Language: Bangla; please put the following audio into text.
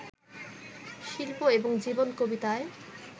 শিল্প এবং জীবন কবিতায়